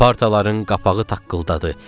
Partaların qapağı taqqıldadı.